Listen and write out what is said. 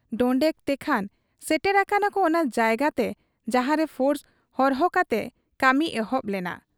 ᱰᱚᱸᱰᱮᱠ ᱛᱮᱠᱷᱟᱱ ᱥᱮᱴᱮᱨ ᱟᱠᱟᱱᱟᱠᱚ ᱚᱱᱟ ᱡᱟᱭᱜᱟᱛᱮ ᱡᱟᱦᱟᱸᱨᱮ ᱯᱷᱳᱨᱥ ᱦᱚᱨᱦᱚ ᱠᱟᱛᱮ ᱠᱟᱹᱢᱤ ᱮᱦᱚᱵ ᱞᱮᱱᱟ ᱾